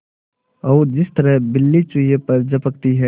और जिस तरह बिल्ली चूहे पर झपटती है